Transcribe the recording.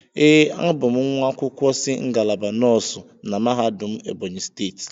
Ee, a bụ m nwa akwụkwọ si ngalaba nọọsụ na mahadum Ebonyi steeti.